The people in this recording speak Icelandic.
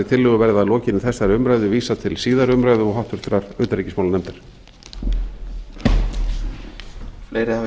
tillögu verði að lokinni þessari umræðu vísað til síðari umræðu og háttvirtur utanríksimálanefndar